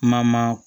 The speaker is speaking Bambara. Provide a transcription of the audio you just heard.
Kuma ma